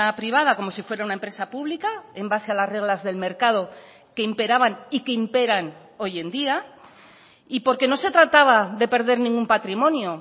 privada como si fuera una empresa pública en base a las reglas del mercado que imperaban y que imperan hoy en día y porque no se trataba de perder ningún patrimonio